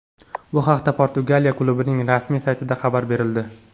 Bu haqda Portugaliya klubining rasmiy saytida xabar berildi .